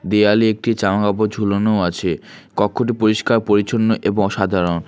দেয়ালে একটি জামাকাপড় ঝুলানোও আছে কক্ষটি পরিষ্কার পরিচ্ছন্ন এবং সাধারণ।